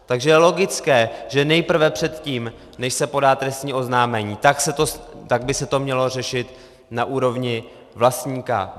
Takže je logické, že nejprve, předtím než se podá trestní oznámení, tak by se to mělo řešit na úrovni vlastníka.